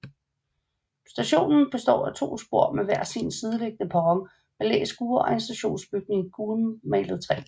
Stationen består af to spor med hver sin sideliggende perron med læskure og en stationsbygning i gulmalet træ